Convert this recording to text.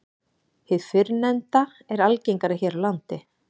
Hið fyrrnefnda er algengara hér á landi.